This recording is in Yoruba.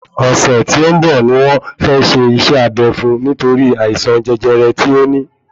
Ọ̀sẹ̀ tí ó ń bọ̀ ni wọ́n fẹ́ ṣe iṣẹ́ abé fún un nítorí àìsàn jẹjẹrẹ tí ó ní